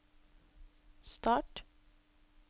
start